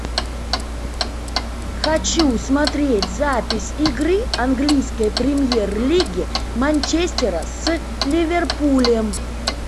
хочу смотреть запись игры английской премьер лиги манчестера с ливерпулем